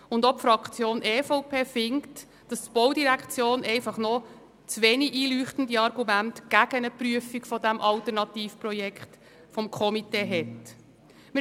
Die EVP-Fraktion findet auch, dass die Argumente der Baudirektion gegen eine Prüfung des Alternativprojekts des Komitees wenig einleuchten.